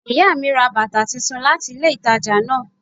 Ìyá mi ra bàtà titun láti ilé ìtajà náà